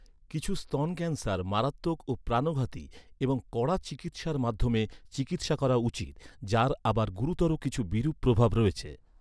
কিছু স্তন ক্যান্সার মারাত্মক ও প্রাণঘাতি এবং কড়া চিকিৎসার মাধ্যমে চিকিৎসা করা উচিত, যার আবার গুরুতর কিছু বিরূপ প্রভাব রয়েছে।